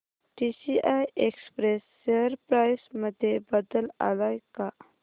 TCI Express share price मध्ये बदल आलाय का